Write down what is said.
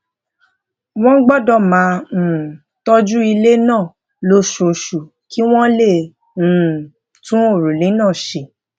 wón gbódò máa um tójú ilé náà lóṣooṣù kí wón lè um tún òrùlé náà ṣe